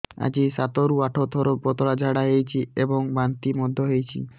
ଆଜି ସାତରୁ ଆଠ ଥର ପତଳା ଝାଡ଼ା ହୋଇଛି ଏବଂ ବାନ୍ତି ମଧ୍ୟ ହେଇଛି